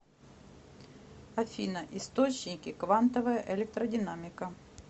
афина источники квантовая электродинамика